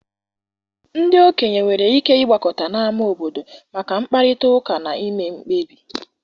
Ndị okenye nwere ike ịgbakọta n' ámá obodo maka mkparịta ụka na ime mkpebi.